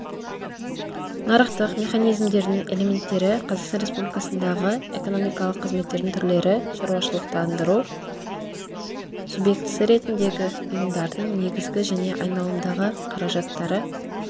нарықтық механизмдердің элементтері қазақстан республикасындағы экономикалық қызметтердің түрлері шаруашылықтандыру субъектісі ретіндегі ұйымдардың негізгі және айналымдағы қаражаттары